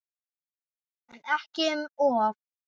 En ekki um of.